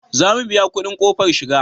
Za mu biya kudin kofar shiga